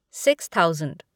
six thousand